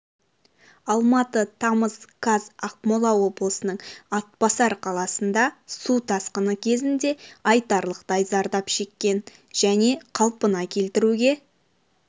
алматы тамыз қаз ақмола облысының атбасар қаласында су тасқыны кезінде айтарлықтай зардап шеккен және қалпына келтіруге